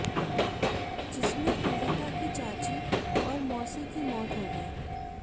जिसमें पीड़िता की चाची और मौसी की मौत हो गई थी